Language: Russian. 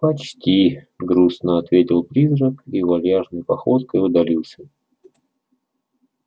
почти грустно ответил призрак и вальяжной походкой удалился